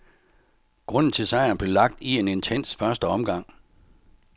Grunden til sejren blev lagt i en intens første omgang.